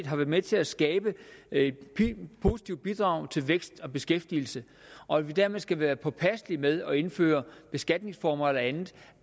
har været med til at skabe et positivt bidrag til vækst og beskæftigelse og at vi dermed skal være påpasselige med at indføre beskatningsformer eller andet